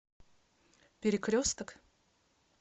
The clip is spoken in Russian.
перекресток